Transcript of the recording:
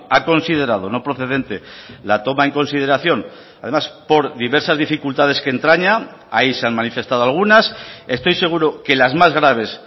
ha considerado no procedente la toma en consideración además por diversas dificultades que entraña ahí se han manifestado algunas estoy seguro que las más graves